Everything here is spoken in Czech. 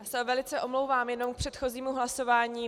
Já se velice omlouvám, jenom k předchozímu hlasování.